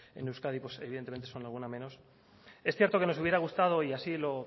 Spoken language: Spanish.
en euskadipues evidentemente pues son alguna menos es cierto que nos hubiera gustado y así lo